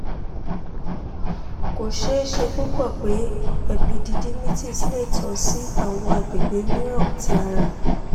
ko ṣee ṣe pupọ pe epididymitis le tan si awọn agbegbe miiran ti ara